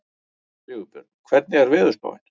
Sigurbjörn, hvernig er veðurspáin?